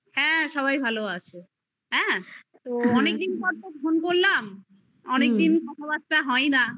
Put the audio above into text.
husband ভালো আছে হ্যা অনেক দিন পর তো phone করলাম অনেক দিন কথা বাত্রা হয় না